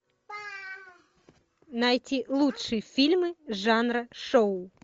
найти лучшие фильмы жанра шоу